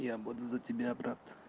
я буду за тебя брат